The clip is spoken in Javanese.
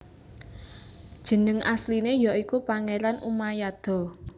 Jeneng asline ya iku Pangeran Umayado